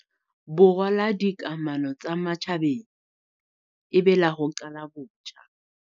Borwa la dikamano tsa matjhabeng e be la ho qala botjha.